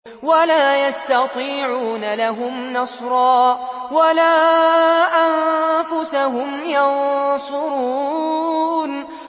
وَلَا يَسْتَطِيعُونَ لَهُمْ نَصْرًا وَلَا أَنفُسَهُمْ يَنصُرُونَ